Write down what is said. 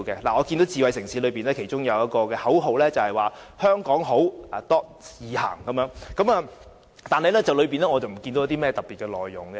我看見智慧城市的其中一句口號是"香港好.易行"，但我看不見當中有甚麼特別的內容。